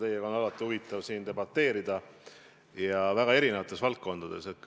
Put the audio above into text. Teiega on alati huvitav debateerida ja seda väga erinevates valdkondades.